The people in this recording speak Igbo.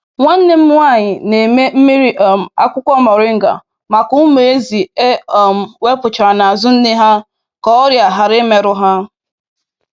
Nwanne m nwanyị na-eme mmiri um akwukwo moringa maka ụmụ ezi e um wepụchara n’azu nne ha ka ọrịa ghara imerụ ha.